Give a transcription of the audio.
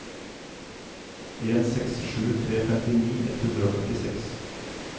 en seks sju tre femtini ett hundre og førtiseks